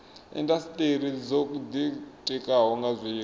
indasiteri dzo ditikaho nga zwiko